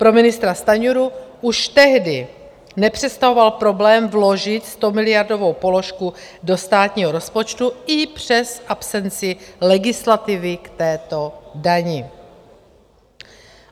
Pro ministra Stanjuru už tehdy nepředstavovalo problém vložit 100miliardovou položku do státního rozpočtu i přes absenci legislativy k této dani.